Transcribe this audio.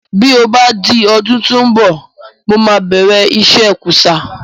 Bí ó bá di ọdún tí ó ń bọ̀, mo máa bẹ̀rẹ̀ iṣẹ́ kúsá